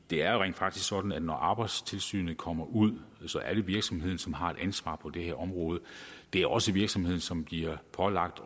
det er jo rent faktisk sådan at når arbejdstilsynet kommer ud så er det virksomheden som har et ansvar på det her område det er også virksomheden som bliver pålagt